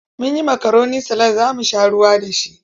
Mun yi makaroni salad za mu sha ruwa da shi.